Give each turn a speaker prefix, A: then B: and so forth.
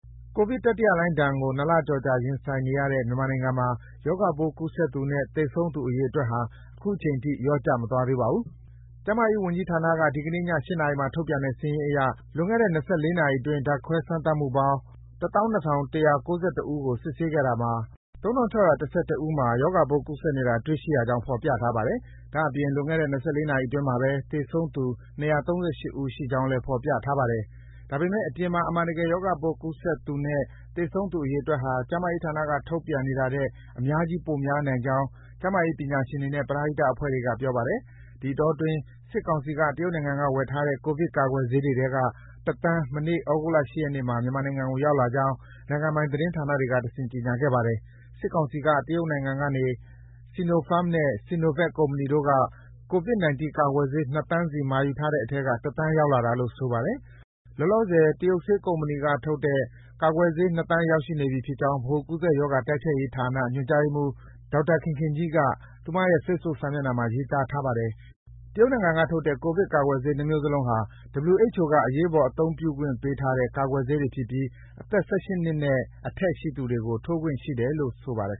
A: ကိုဗစ်-၁၉ တတိယလှိုင်းဒဏ်ကို ၂ လကျော်ကြာ ရင်ဆိုင်နေရတဲ့ မြန်မာနိုင်ငံမှာ ရောဂါပိုးကူးစက်သူနဲ့ သေဆုံးသူ အရေအတွက်ဟာ အခုချိန်ထိ လျော့ကျမသွားသေးပါဘူး။ ကျန်းမာရေးဝန်ကြီးဌာနက ဒီကနေ့ည ၈ နာရီမှာ ထုတ်ပြန်တဲ့ စာရင်းအရ လွန်ခဲ့တဲ့ ၂၄ နာရီအတွင်း ဓါတ်ခွဲ စမ်းသပ်မှုပေါင်း ၁၂,၁၉၁ ဦးကို စစ်ဆေးခဲ့တာမှာ ၃,၆၁၁ ဦးမှာ ရောဂါပိုး ကူးစက်နေတာ တွေ့ရှိကြောင်း ဖော်ပြထားပါတယ်။ ဒါ့အပြင် လွန်ခဲ့တဲ့ ၂၄ နာရီအတွင်းမှာ သေဆုံးသူ ၂၃၈ ဦးရှိကြောင်းလည်း ဖော်ပြထားပါတယ်။ ဒါပေမယ့် အပြင်မှာ အမှန်တကယ် ရောဂါပိုးကူးစက်သူနဲ့ သေဆုံးသူအရေအတွက်ဟာ ကျန်းမာရေးဌာနက ထုတ်ပြန်နေတာထက် အများကြီး ပိုများနိုင်ကြောင်း ကျန်းမာရေးပညာရှင်တွေနဲ့ ပရဟိတအဖွဲ့အစည်းတွေက ပြောပါတယ်။ ဒီအတောအတွင်း စစ်ကောင်စီက တရုတ်နိုင်ငံက ဝယ်ထားတဲ့ ကိုဗစ်ကာကွယ်ဆေးတွေထဲတွေက ၁ သန်း မနေ့ သြဂုတ်လ ၈ ရက်နေ့မှာ မြန်မာနိုင်ငံကို ရောက်လာကြောင်း နိုင်ငံပိုင် သတင်းဌာနတွေကတဆင့် ကြေညာခဲ့ပါတယ်။ စစ်ကောင်စီက တရုတ်နိုင်ငံက Sinopharm နဲ့ Sinovac ကုမ္ပဏီတို့ကနေ ကိုဗစ်-၁၉ ကာကွယ်ဆေး ၂ သန်းစီ မှာယူထားတဲ့အထဲက ၁ သန်းရောက်လာတာလို့ ဆိုပါတယ်။ လောလောဆယ် တရုတ်ဆေးကုမ္ပဏီ ၂ ခုကထုတ်တဲ့ ကာကွယ်ဆေး ၂ သန်း ရောက်နေပြီဖြစ်ကြောင်း ဗဟိုကူးစက်ရောဂါ တိုက်ဖျက်ရေးဌာန ညွှန်ကြားရေးမှူး ဒေါ်ခင်ခင်ကြီးက သူမရဲ့ Facebook စာမျက်နှာမှာ ရေးထားပါတယ်။ တရုတ်နိုင်ငံကထုတ်တဲ့ ကိုဗစ်-၁၉ ကာကွယ်ဆေး ၂ မျိုးစလုံးကို WHO က အရေးပေါ် အသုံးပြုခွင့်ပေးထားတဲ့ ကာကွယ်ဆေးတွေဖြစ်ပြီး အသက် ၁၈ နှစ်နဲ့အထက်ရှိသူတွေကို ထိုးပေးခွင့်ရှိတယ်လို့ ဆိုပါတယ်